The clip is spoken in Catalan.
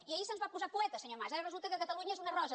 i ahir se’ns va posar poeta senyor mas ara resulta que catalunya és una rosa